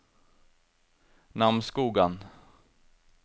Namsskogan